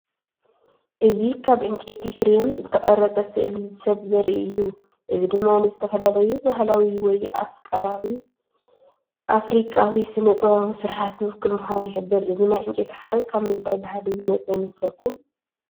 እዚ ካብ ዕንጨይቲ ፍሬም ዝተቐርጸ ስእሊ ሰብ ዘርኢ እዩ። እዚ ድማ ንዝተፈላለዩ ባህላዊ ወይ ኣፍሪቃዊ ስነ-ጥበባዊ ስርሓት ዝውክል ምዃኑ ይሕብር። እዚ ናይ ዕንጨይቲ ሓረግ ካብ ምንታይ ባህሊ ዝመጸ ይመስለኩም?